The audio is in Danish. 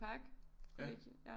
Parkkollegiet